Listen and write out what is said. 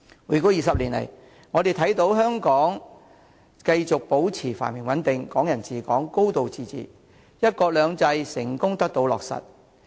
回歸20年，香港繼續保持繁榮穩定，"港人治港"、"高度自治"，"一國兩制"成功得到落實。